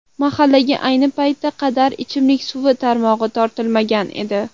Mahallaga ayni paytga qadar ichimlik suvi tarmog‘i tortilmagan edi.